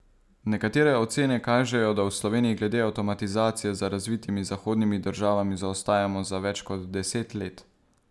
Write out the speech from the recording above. Nekatere ocene kažejo, da v Sloveniji glede avtomatizacije za razvitimi zahodnimi državami zaostajamo za več kot deset let.